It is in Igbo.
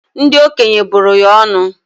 Ndi okenye bụrụ ya ọnụ